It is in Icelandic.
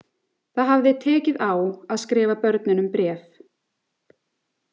Það hafði tekið á að skrifa börnunum bréf.